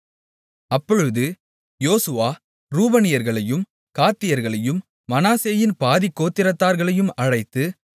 அப்பொழுது யோசுவா ரூபனியர்களையும் காத்தியர்களையும் மனாசேயின் பாதிக்கோத்திரத்தார்களையும் அழைத்து